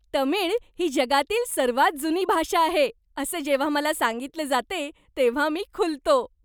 तमिळ ही जगातील सर्वात जुनी भाषा आहे असे जेव्हा मला सांगितलं जाते, तेव्हा मी खुलतो.